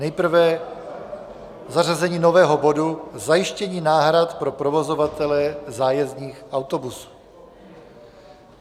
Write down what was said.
Nejprve zařazení nového bodu zajištění náhrad pro provozovatele zájezdních autobusů.